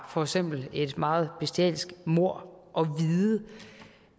for eksempel et meget bestialsk mord og vide